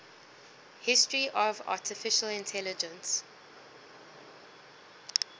history of artificial intelligence